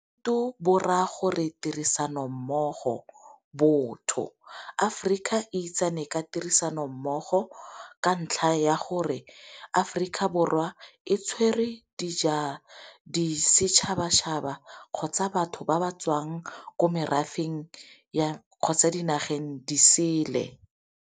Ubuntu bo ra gore tirisano mmogo, botho. Aforika itsane ka tirisano mmogo ka ntlha ya gore Aforika Borwa e tshwere di setšhaba-tšhaba kgotsa batho ba ba tswang ko merafeng kgotsa dinageng disele.